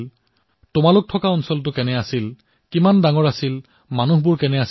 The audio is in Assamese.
যি ঠাইত তেওঁলোক থাকে সেই ঠাই কেনে আছিল